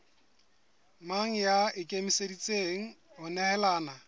mang ya ikemiseditseng ho nehelana